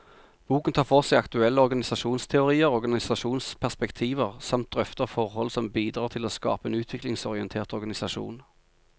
Boken tar for seg aktuelle organisasjonsteorier og organisasjonsperspektiver, samt drøfter forhold som bidrar til å skape en utviklingsorientert organisasjon.